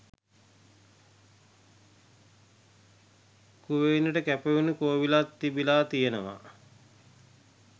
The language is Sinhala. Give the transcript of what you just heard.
කුවේණිට කැපවුණු කෝවිලක් තිබිලා තියෙනවා